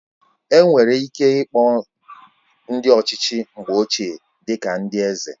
Enwere ike ịkpọ ndị ọchịchị mgbe ochie dị ka ndị eze